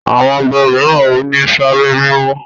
àwọn oba míràn o ní Sáré mímọ